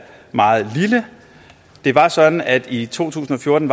meget lille det var sådan at det i to tusind og fjorten